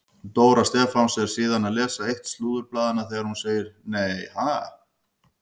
Dóra Stefáns er síðan að lesa eitt slúðurblaðanna þegar hún segir: Nei ha?